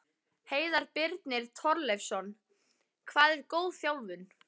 Heiðar Birnir Torleifsson Hvað er góð þjálfun?